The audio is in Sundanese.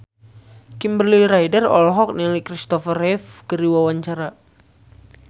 Kimberly Ryder olohok ningali Christopher Reeve keur diwawancara